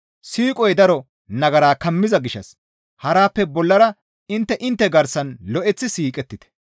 Siiqoy daro nagara kammiza gishshas harappe bollara intte intte garsan lo7eththi siiqettite.